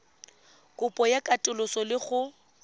kopo ya katoloso le go